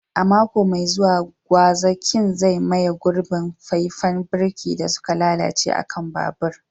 A mako mai zuwa, gwazakin zai maye gurbin faifan birki da suka lalace a kan babur.